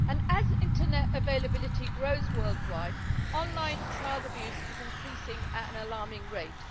As Internet availability grows worldwide, online child abuse is increasing at an alarming rate.